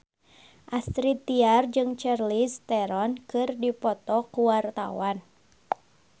Astrid Tiar jeung Charlize Theron keur dipoto ku wartawan